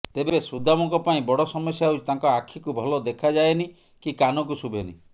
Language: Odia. ତେବେ ସୁଦାମଙ୍କ ପାଇଁ ବଡ଼ ସମସ୍ୟା ହେଉଛି ତାଙ୍କ ଆଖିକୁ ଭଲ ଦେଖାଯାଏନି କି କାନକୁ ଶୁଭେନି